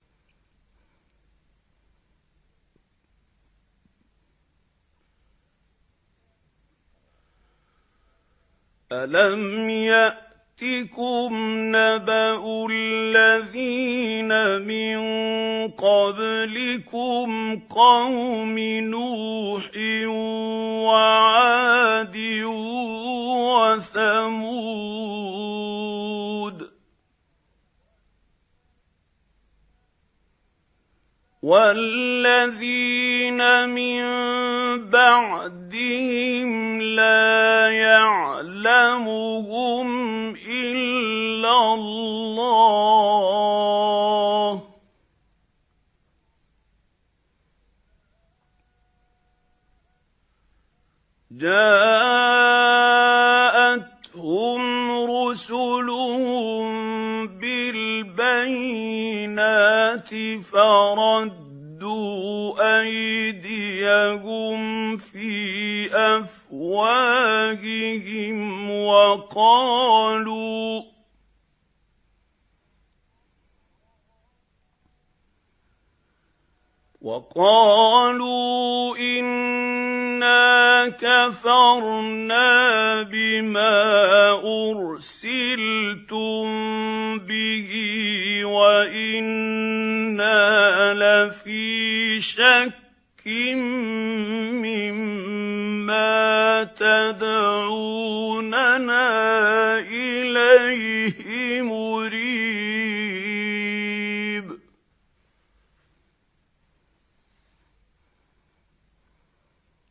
أَلَمْ يَأْتِكُمْ نَبَأُ الَّذِينَ مِن قَبْلِكُمْ قَوْمِ نُوحٍ وَعَادٍ وَثَمُودَ ۛ وَالَّذِينَ مِن بَعْدِهِمْ ۛ لَا يَعْلَمُهُمْ إِلَّا اللَّهُ ۚ جَاءَتْهُمْ رُسُلُهُم بِالْبَيِّنَاتِ فَرَدُّوا أَيْدِيَهُمْ فِي أَفْوَاهِهِمْ وَقَالُوا إِنَّا كَفَرْنَا بِمَا أُرْسِلْتُم بِهِ وَإِنَّا لَفِي شَكٍّ مِّمَّا تَدْعُونَنَا إِلَيْهِ مُرِيبٍ